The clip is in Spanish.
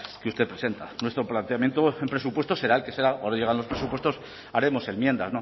que usted presenta nuestro planteamiento en presupuestos será el que será ahora llegan los presupuestos haremos enmiendas